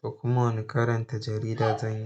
To kuma wani karanta jarida zan yi?